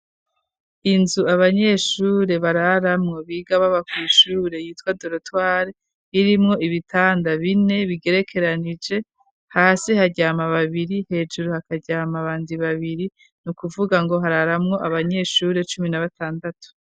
Inzu abanyeshure bararamwo biga babakwishure yitwa dolotware irimwo ibitanda bine bigerekeranije hasi haryama babiri hejuru hakaryama bandi babiri ni ukuvuga ngo hararamwo abanyeshure cumi na batandatu.